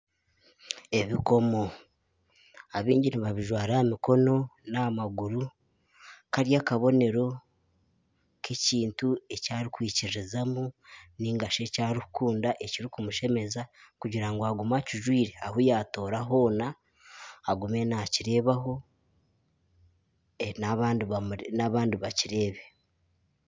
Ebikomo abingi nibajwara aha mikono n'amaguru kari akabonero k'ekintu eki arikwikiririzamu ningashi eki arikukunda ekirikumushemeza kugira ngu agume akijwire ahu yatoora hoona agume nakireeba ho n'abandi bakireebe.